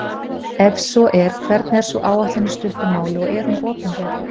Ef svo er, hvernig er sú áætlun í stuttu máli og er hún opinber?